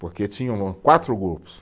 Porque tinham quatro grupos.